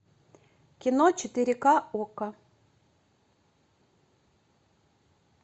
кино четыре ка окко